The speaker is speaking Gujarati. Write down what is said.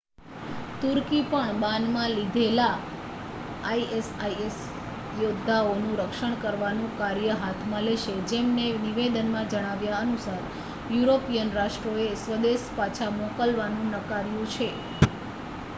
તુર્કી પણ બાનમાં લીધેલા એ isis યોદ્ધાઓનું રક્ષણ કરવાનું કાર્ય હાથમાં લેશે જેમને નિવેદનમાં જણાવ્યા અનુસાર યુરોપિયન રાષ્ટ્રોએ સ્વદેશ પાછા મોકલવાનું નકાર્યું છે